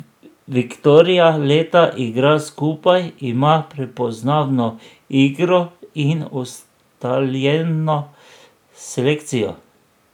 Viktoria leta igra skupaj, ima prepoznavno igro in ustaljeno selekcijo.